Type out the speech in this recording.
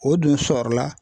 O dun sɔrɔla